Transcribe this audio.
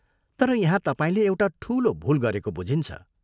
तर यहाँ तपाईंले एउटा ठूलो भूल गरेको बुझिन्छ।